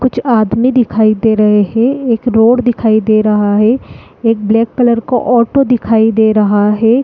कुछ आदमी दिखाई दे रहें हैं एक रोड दिखाई दे रही है एक ब्लेक कलर का ऑटो दिखाई दे रहा है।